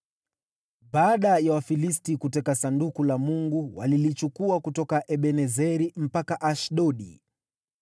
Baada ya Wafilisti kuteka Sanduku la Mungu, walilichukua kutoka Ebenezeri mpaka Ashdodi.